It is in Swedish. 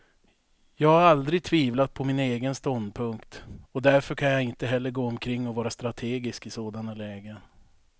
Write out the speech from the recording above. Jag har aldrig tvivlat på min egen ståndpunkt, och därför kan jag inte heller gå omkring och vara strategisk i sådana lägen.